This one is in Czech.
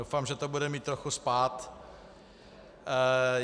Doufám, že to bude mít trochu spád.